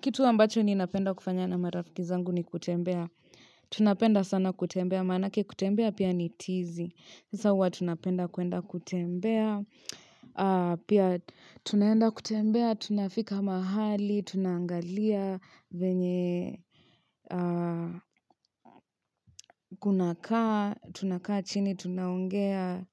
Kitu ambacho ninapenda kufanya na marafiki zangu ni kutembea, tunapenda sana kutembea, maanake kutembea pia ni tizi, sasa hua tunapenda kwenda kutembea, pia tunaenda kutembea, tunafika mahali, tunangalia, venye kunakaa, tunakaa chini tunaongea,